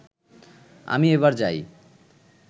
আমি এবার যাই